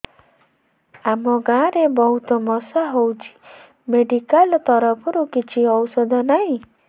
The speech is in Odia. ଆମ ଗାଁ ରେ ବହୁତ ମଶା ହଉଚି ମେଡିକାଲ ତରଫରୁ କିଛି ଔଷଧ ନାହିଁ